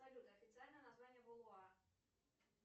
салют официальное название волвуа